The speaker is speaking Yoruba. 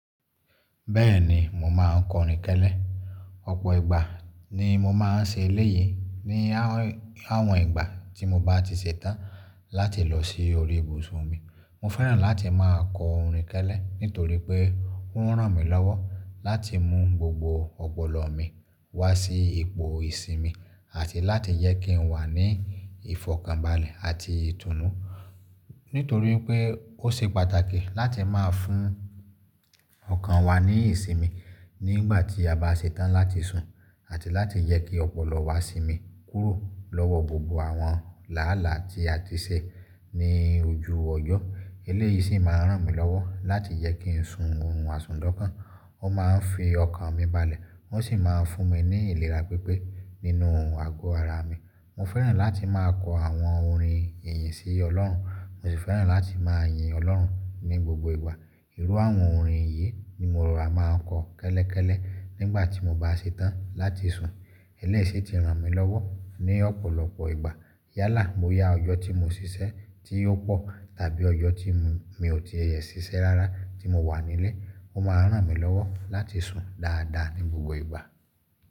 Bẹ́ẹ̀ni, mo máà ń kọrin kẹlẹ́. Ọ̀pọ̀ ìgbà ni mo máa ń ṣe eléyìí ní àwọn ìgbà tí mo bá ti ṣetán láti lọ sí orí ibùsùn mi. Mo fẹ́ràn láti máa kọ orin kẹlẹ́ nítorí pé ó ń ràn mí lọ́wọ́ láti mú gbogbo ọ̀pọ̀lọ́ mi wá sí ipò ìsinmi àti láti jẹ kí n wà ní ìfọ̀kànbalẹ̀ àti ìtùnú. Nítorí pé ó ṣe pàtàkì láti máa fún ọkàn wa ní ìsinmi nígbà tí a bá ṣetán láti sùn àti láti yẹ kí ọ̀pọ̀lọ́ wa sinmi kúrò lọ́wọ́ gbogbo àwọn làálàá tí a ti ṣe ní ojú ọjọ́. Eléyìí sì máa ń ràn mí lọ́wọ́ láti jẹ kí n sùn ohun àsùn d'ọkan. Ó ma ń fi ọkàn mi balẹ̀ wọ́n sì máa ń fún mi ní ìlera pípé nínú àgọ́ ara mi. Mo fẹ́ràn láti máa kọ àwọn orin ìyìn sí Ọlọ́run, mo sì fẹ́ràn láti máa yin Ọlọ́run ní gbogbo ìgbà. Irú àwọn orin yìí ni mo rò wá máa ń kọ kẹ́lẹ́kẹ́lẹ́ nígbà tí mo bá ṣetán láti sùn. Eléyìí sì ti ràn mí lọ́wọ́ ní ọ̀pọ̀lọpọ̀ ìgbà. Yálà boyá ọjọ́ tí mo ṣiṣẹ́ tí ó pọ̀ tàbí ọjọ́ tí mi ò tìẹ ṣiṣẹ́ rárá tí mo wà nílé. Ó ma ń ràn mí lọ́wọ́ láti sùn dáadáa ní gbogbo ìgbà.